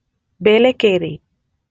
Belekeri